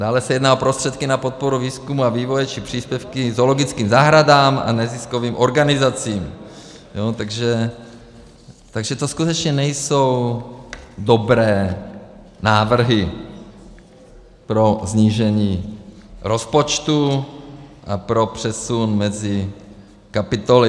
Dále se sjedná o prostředky na podporu výzkumu a vývoje či příspěvky zoologickým zahradám a neziskovým organizacím, takže to skutečně nejsou dobré návrhy pro snížení rozpočtu a pro přesun mezi kapitolami.